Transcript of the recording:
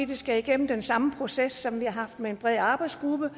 det skal igennem den samme proces med en bred arbejdsgruppe